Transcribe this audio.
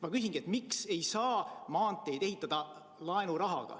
Ma küsingi, miks ei saa maanteid ehitada laenurahaga.